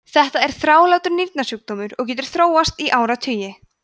þetta er þrálátur nýrnasjúkdómur og getur þróast í áratugi